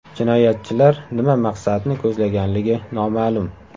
Jinoyatchilar nima maqsadni ko‘zlaganligi noma’lum.